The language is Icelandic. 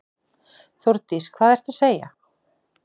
Þórdís: Hvað ertu að segja.